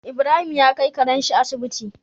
Ibrahim ya kai Karen shi Asibiti